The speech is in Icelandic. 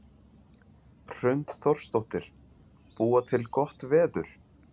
Hrund Þórsdóttir: Búa til gott veður?